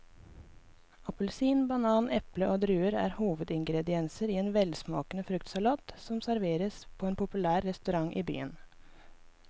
Appelsin, banan, eple og druer er hovedingredienser i en velsmakende fruktsalat som serveres på en populær restaurant i byen.